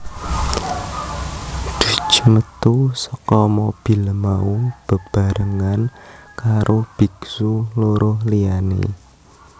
Duc métu saka mobil mau bebarengan karo biksu loro liyané